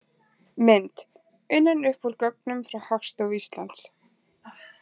Mynd: Unnin upp úr gögnum frá Hagstofu Íslands.